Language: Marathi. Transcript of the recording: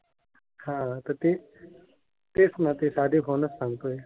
हा. तर ते तेच ना. ते साधे फोनच सांगतोय.